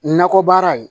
Nakɔ baara